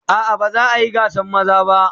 A'a ba za a yi gasan maza ba.